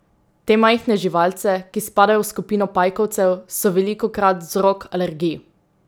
Te majhne živalce, ki spadajo v skupino pajkovcev, so velikokrat vzrok alergij.